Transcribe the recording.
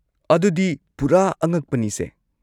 ꯑꯗꯨꯗꯤ ꯄꯨꯔꯥ ꯑꯉꯛꯄꯅꯤꯁꯦ꯫